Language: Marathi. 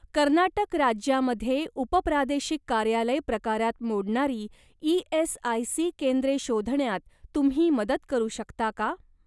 कर्नाटक राज्यामध्ये उपप्रादेशिक कार्यालय प्रकारात मोडणारी ई.एस.आय.सी. केंद्रे शोधण्यात तुम्ही मदत करू शकता का?